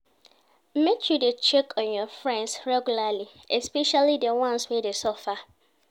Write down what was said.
Make you dey check on your friends regularly, especially di ones wey dey suffer.